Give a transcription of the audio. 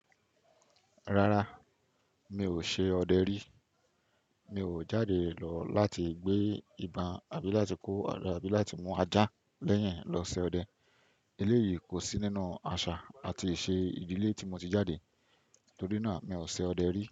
Rárá, mi ò ṣe ọdẹ rí. Mi ò jáde lọ láti gbé ibon àbí láti kó ọ̀rẹ́ àbí láti mú ajá lẹ́yìn lọ ṣe ọdẹ. Elééyìí kò sí nínú àṣà àti ìṣe ìdílé tí mo ti jáàde. Torí náà, mi ò ṣe ọdẹ rí.